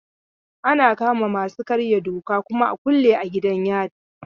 Ana kama masu karya doka a kuma kulle a gidan yari.